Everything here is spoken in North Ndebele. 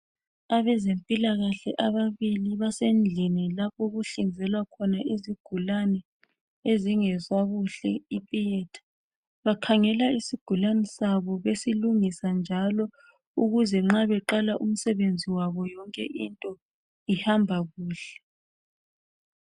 Abezempilakahle ababili basendlini lapho okuhlinzelwa khona izigulane ezingezwa kuhle i theatre bakhangela isigulane sabo besilungisa njalo ukuze nxa beqala umsebenzi wabo yonke into ihamba kuhle.